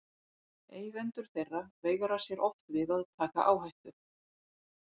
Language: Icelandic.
Eigendur þeirra veigra sér oft við að taka áhættu.